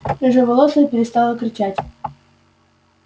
рыжеволосая перестала кричать